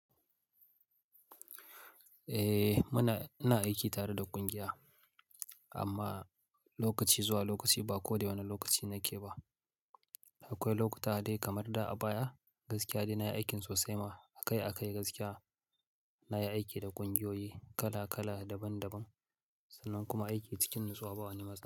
Eh muna, ina aiki tare da ƙungiya amma lokaci zuwa lokaci ba ko da wane lokaci nake ba. Akwai lokuta dai kamar da a baya gaskiya dai nayi aikin sosai ma akai-akai gaskiya nayi aiki da ƙungiyoyi kala kala daban daban sannan kuma aiki cikin nutsuwa ba wani matsala.